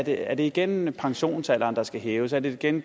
er det igen pensionsalderen der skal hæves er det igen